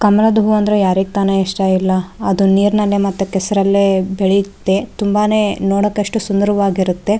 ಕಮಲದ್ ಹೂ ಅಂದ್ರೆ ಯಾರಗ್ ತಾನೆ ಇಷ್ಟ ಇರ್ಲ್ಲ ಅದು ನೀರನಲ್ಲಿ ಮತೆ ಕೆಸ್ರಲ್ಲಿ ಬೆಳೆಯುತ್ತೆ ತುಂಬಾನೆ ನೋಡಕಾಷ್ಟು ಸುಂದರವಾಗಿರ್ತುತ್ತೆ.